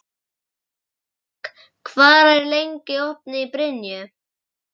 Sólborg, hvað er lengi opið í Brynju?